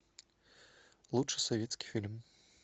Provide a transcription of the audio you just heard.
лучший советский фильм